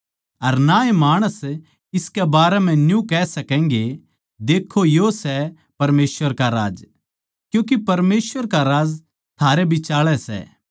अर ना ए माणस इसके बारें म्ह न्यू कह सकैगे देक्खों यो सै परमेसवर का राज्य क्यूँके परमेसवर का राज्य थारै बिचाळै सै